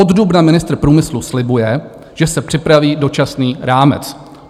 Od dubna ministr průmyslu slibuje, že se připraví dočasný rámec.